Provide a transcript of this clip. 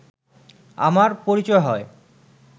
আমার পরিচয় হয়